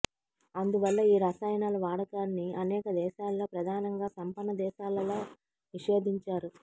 అందువల్ల ఈ రసాయనాల వాడకాన్ని అనేక దేశాలలో ప్రధానంగా సంపన్న దేశాలలో నిషేధించారు